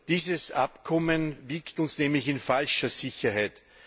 Dieses Abkommen wiegt uns nämlich in falscher Sicherheit.